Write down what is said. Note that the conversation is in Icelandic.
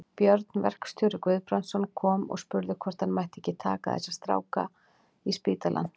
Björn verkstjóri Guðbrandsson kom og spurði hvort hann mætti ekki taka þessa stráka í spítalann.